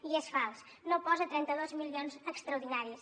i és fals no posa trenta dos milions extraordinaris